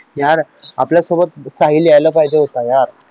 यार आपल्यासोबत साहिल यायला पाहिजे होता यार